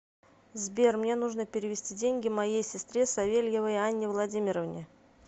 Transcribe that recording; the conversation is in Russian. сбер мне нужно перевести деньги моей сестре савельевой анне владимировне